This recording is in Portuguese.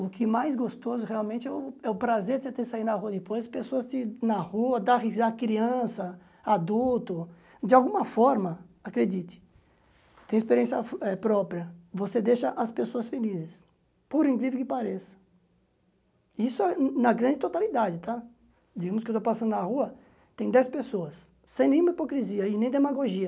o que mais gostoso realmente é o é o prazer de você ter saído na rua depois, pessoas na rua, da risa criança, adulto, de alguma forma, acredite, tem experiência própria, você deixa as pessoas felizes, por incrível que pareça, isso é na grande totalidade, digamos que eu estou passando na rua, tem dez pessoas, sem nenhuma hipocrisia e nem demagogia,